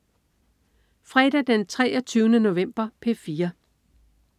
Fredag den 23. november - P4: